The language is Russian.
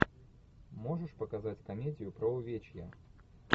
можешь показать комедию про увечья